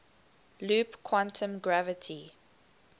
loop quantum gravity